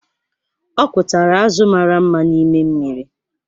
Ọ kụtara azụ̀ mara mma n’ime mmiri.